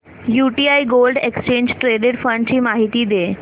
UTI gold exchange traded fund ची माहिती दे